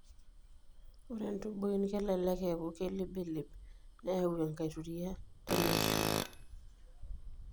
Ore intubuin kelelek eeku kelibilib neyau enkituria teneishiu.